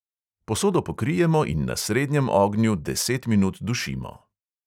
Posodo pokrijemo in na srednjem ognju deset minut dušimo.